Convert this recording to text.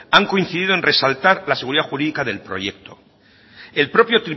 han coincidido en resaltar la seguridad jurídica del proyecto el propio